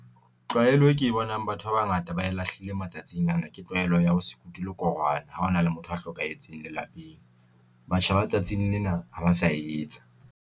Tlwaelo e ke e bonang batho ba bangata ba lahlile matsatsing ana ke tlwaelo ya ho se kuti lekorwana ha hona le motho a hlokahetseng lelapeng. Batjha ba tsatsing lena ha ba sa etsa.